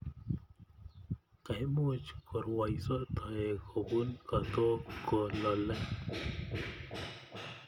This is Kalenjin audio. Koimuch korwaiso taek kopun kootok ko lolei.